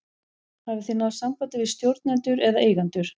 Hafið þið náð sambandi við stjórnendur eða eigendur?